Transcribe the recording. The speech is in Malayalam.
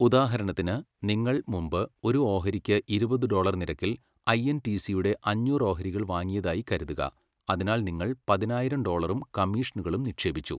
ഉദാഹരണത്തിന്, നിങ്ങൾ മുമ്പ് ഒരു ഓഹരിക്ക് ഇരുപത് ഡോളർ നിരക്കിൽ ഐഎൻടിസിയുടെ അഞ്ഞൂറ് ഓഹരികൾ വാങ്ങിയതായി കരുതുക, അതിനാൽ നിങ്ങൾ പതിനായിരം ഡോളറും കമ്മീഷനുകളും നിക്ഷേപിച്ചു.